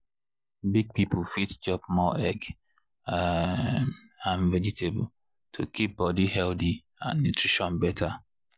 big people fit chop more egg um and vegetable to keep body healthy and nutrition better.